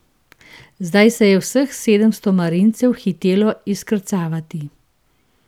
Zdaj se je vseh sedemsto marincev hitelo izkrcavati.